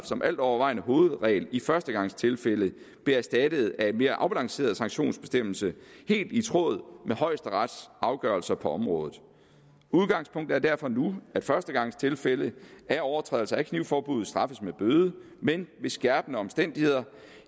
som altovervejende hovedregel i førstegangstilfælde blev erstattet af en mere afbalanceret sanktionsbestemmelse helt i tråd med højesterets afgørelser på området udgangspunktet er derfor nu at førstegangstilfælde af overtrædelse af knivforbuddet straffes med bøde men ved skærpende omstændigheder